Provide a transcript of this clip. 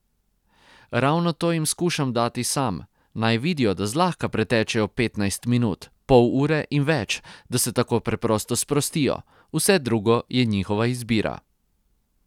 Ravno to jim skušam dati sam, naj vidijo, da zlahka pretečejo petnajst minut, pol ure in več, da se tako preprosto sprostijo, vse drugo je njihova izbira.